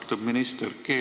Austatud minister!